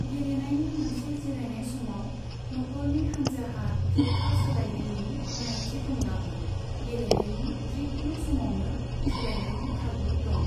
गेलेनायनि मोनसे जिरायनाय समाव नखरनि हान्जाहा जोब्था सोलायनायनि गनायथि दंब्लाबो गेलेनायनि जिखुनु समावनो सोलायनायनि खाबु दं।